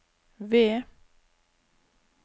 V